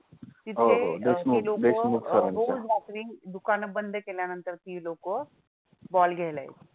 रोज रात्री दुकानं बंद केल्यानंतर ती लोकं ball घ्यायला यायची.